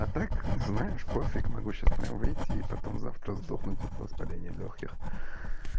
а так знаешь пофиг могу сейчас прям выйти и потом завтра сдохнуть от воспаления лёгких